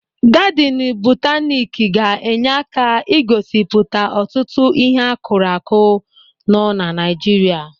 Gadịnụ bọtanịk ga-enye aka ị gosipụta ọtụtụ ịhe a kụrụ akụ nọ na Naịjirịa.